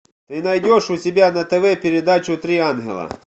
ты найдешь у себя на тв передачу три ангела